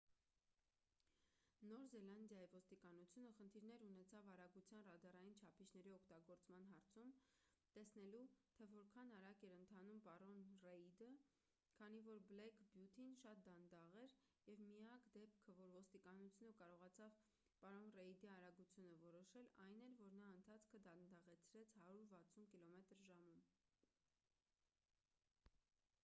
նոր զելանդիայի ոստիկանությունը խնդիրներ ունեցավ արագության ռադարային չափիչների օգտագործման հարցում՝ տեսնելու թե որքան արագ էր ընթանում պարոն ռեիդը քանի որ բլեք բյութին շատ դանդաղ էր և միակ դեպքը որ ոստիկանությունը կարողացավ պարոն ռեիդի արագությունը որոշել այն էր երբ նա ընթացքը դանդաղեցրեց 160 կմ/ժ: